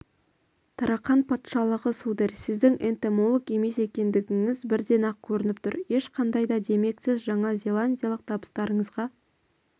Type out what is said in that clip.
тарақан патшалығы сударь сіздің энтомолог емес екендігіңіз бірден-ақ көрініп тұр ешқандай да демек сіз жаңазеландиялық табыстарыңызға